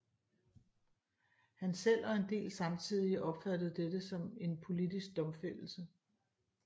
Han selv og en del samtidige opfattede dette som en politisk domfældelse